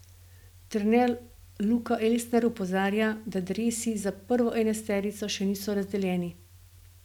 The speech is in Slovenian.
Trener Luka Elsner opozarja, da dresi za prvo enajsterico še niso razdeljeni.